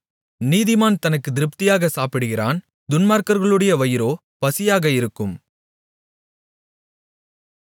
நீதிமான் தனக்குத் திருப்தியாகச் சாப்பிடுகிறான் துன்மார்க்கர்களுடைய வயிறோ பசியாக இருக்கும்